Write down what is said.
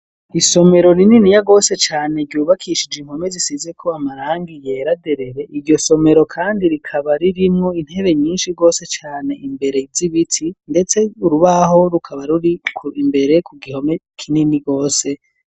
Isomero rinini ya rwose cane ryubakishije inkome zisize ko amarangi yera derere iyo somero kandi rikaba ririmwo intebe nyinshi rwose cane imbere izibiti ndetse urubaho rukaba ruri imbere ku gihome kinini rwose.